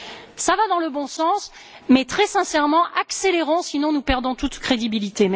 Tout cela va dans le bon sens, mais très sincèrement, accélérons, sinon nous perdons toute crédibilité.